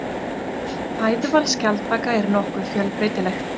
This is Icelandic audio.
Fæðuval skjaldbaka er nokkuð fjölbreytilegt.